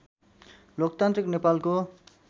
लोकतान्त्रिक नेपालको